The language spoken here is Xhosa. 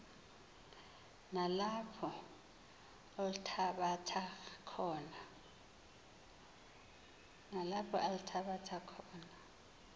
nalapho althabatha khona